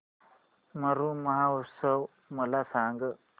मरु महोत्सव मला सांग